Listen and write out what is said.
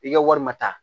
I ka wari ma ta